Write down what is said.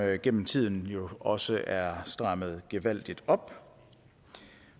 jo gennem tiden også er strammet gevaldigt op